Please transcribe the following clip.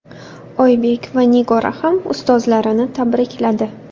Oybek va Nigora ham ustozlarini tabrikladi.